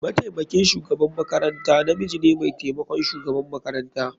Mataimakin shugaban makaranta namiji ne mai taimakon shugaban makaranta.